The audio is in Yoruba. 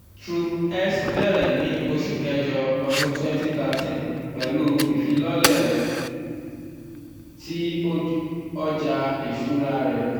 cs] trop x bẹrẹ ni oṣu kẹjọ ọdun twent thirteen pẹlu ifilọlẹ tí ó ti ọja iṣura rẹ.